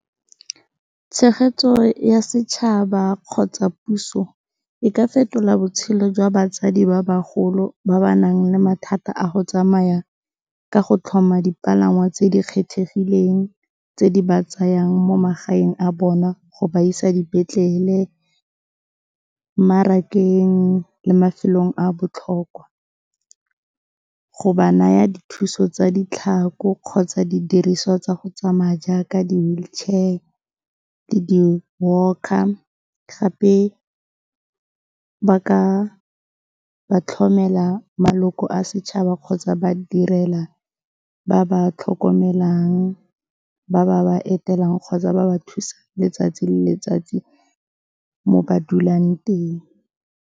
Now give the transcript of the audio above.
Tshegetso ya setšhaba kgotsa puso, e ka fetola botshelo jwa batsadi ba bagolo ba ba nang le mathata a go tsamaya ka go tlhoma dipalangwa tse di kgethegileng, tse di ba tsayang mo magaeng a bona go ba isa dipetlele, mmarakeng le mafelong a botlhokwa. Go ba naya dithuso tsa ditlhako kgotsa didiriswa tsa go tsamaya jaaka di-wheelchair le di-walker gape ba ka ba tlhomela maloko a setšhaba kgotsa ba direla ba ba tlhokomelang ba ba ba etelelang kgotsa ba ba thusa letsatsi le letsatsi mo ba dulang teng.